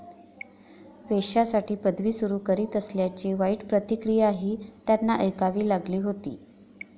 वेश्यांसाठी पदवी सुरु करीत असल्याची वाईट प्रतिक्रियाही त्यांना ऐकावी लागली होती.